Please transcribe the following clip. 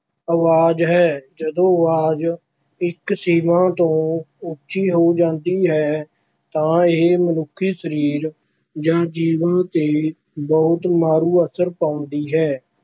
ਅਵਾਜ਼ ਹੈ, ਜਦੋਂ ਅਵਾਜ਼ ਇੱਕ ਸੀਮਾ ਤੋਂ ਉੱਚੀ ਹੋ ਜਾਂਦੀ ਹੈ ਤਾਂ ਇਹ ਮਨੁੱਖੀ ਸਰੀਰ ਜਾਂ ਜੀਵਾਂ ‘ਤੇ ਬਹੁਤ ਮਾਰੂ ਅਸਰ ਪਾਉਂਦੀ ਹੈ।